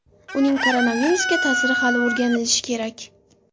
Uning koronavirusga ta’siri hali o‘rganilishi kerak.